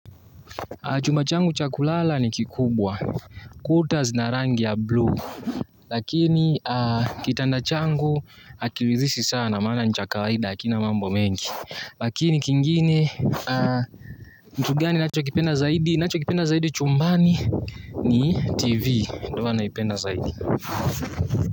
Chumba changu cha kulala ni kikubwa, quarters na rangi ya blue, lakini kitanda changu hakiridhishi sana, maana ni cha kawaida hakina mambo mengi. Lakini kingine, kitu gani nachokipenda zaidi, nachokipenda zaidi chumbani ni TV, ndi huwa naipenda zaidi.